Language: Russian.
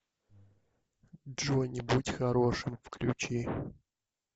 джонни будь хорошим включи